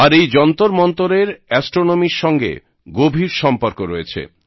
আর এই যন্তরমন্তরের অ্যাস্ট্রোনমির সঙ্গে গভীর সম্পর্ক রয়েছে